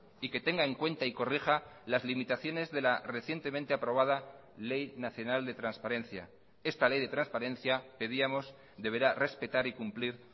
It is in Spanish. y que tenga en cuenta y corrija las limitaciones de la recientemente aprobada ley nacional de transparencia esta ley de transparencia pedíamos deberá respetar y cumplir